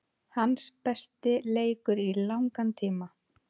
Hans besti leikur í langan tíma.